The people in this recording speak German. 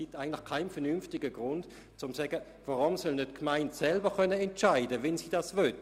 Zudem gibt es auch keinen vernünftigen Grund, weshalb die Gemeinden nicht selber entscheiden können sollten, ob sie dies möchten.